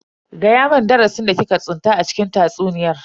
Fada mun darasin da ki ka tsinta a cikin tatsuniyan.